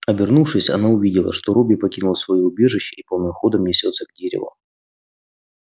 обернувшись она увидела что робби покинул своё убежище и полным ходом несётся к дереву